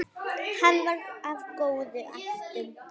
Hann var af góðum ættum.